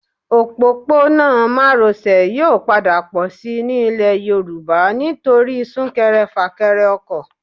Òpópónà Márosẹ̀ yóò padà pọ̀ síi ní ilẹ̀ Yorùbá nítorí súnkẹrẹ fàkẹrẹ ọkọ̀